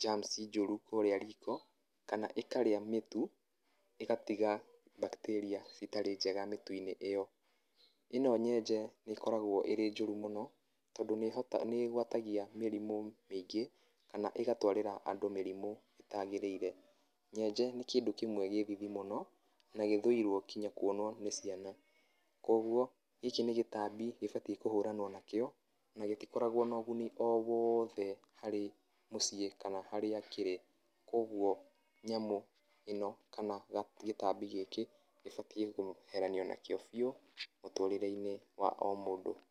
germs njũru kũrĩa riko kana ĩkarĩa mĩtu ĩgatiga mbactaria citarĩ njega kũrĩa mĩtu-inĩ ĩyo ĩno njenje nĩ ĩkoragwo ĩrĩ njũru mũno tondũ nĩ ĩgwatagia mĩrimũ mingĩ kana ĩgatwarĩra andũ mĩrimũ ĩtagĩrĩire, nyenje nĩ kĩndũ kĩmwe kĩ thithi mũno na gĩthũire kũonwo nginya nĩ ciana kogũo gĩkĩ nĩ gĩtabi gĩbatie kũhuranwo nakĩo na gĩtikoragwo na ũgũni o wothe harĩ mũciĩ kana harĩa kĩrĩ kogũo nyamũ ĩno kana gĩtabi gĩkĩ gĩbatie kweheranio nakĩo bĩũ mũtũrĩre-inĩ wa o mũndũ.